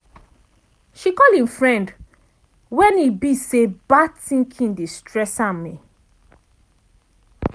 she call im friend wen e be say bad thinking dey stress am.